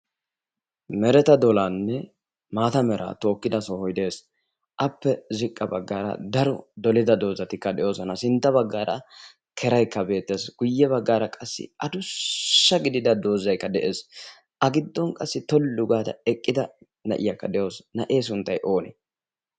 meretta dollanne maata mala tookida sohoy de'ees. appe ziqqa baggara daro dolida doozati de'oosona. sintta baggar keraykka beettes, guyye baggaraaddussa doozaykka de'ees.a giddon qassi tollu gaada eqqida na'iyaakka de'awusi na'e sunttay oone?